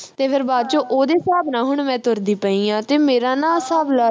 ਤੇ ਫਿਰ ਬਾਅਦ ਵਿਚ ਉਹਦੇ ਹਿਸਾਬ ਨਾਲ ਮੈਂ ਹੁਣ ਤੁਰਦੀ ਪਈ ਆ ਤੇ ਮੇਰਾ ਨਾ ਹਿਸਾਬ